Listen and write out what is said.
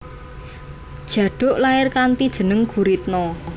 Djaduk lair kanthi jeneng Guritno